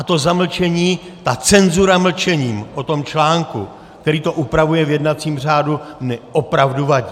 A to zamlčení, ta cenzura mlčením o tom článku, který to upravuje v jednacím řádu, mi opravdu vadí.